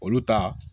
Olu ta